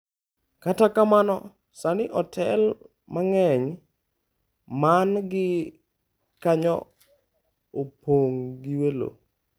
Kata kamano, sani otel mang'eny man gi kanyo opong' gi welo.